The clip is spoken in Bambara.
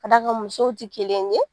Ka da kan musow ti kelen ye.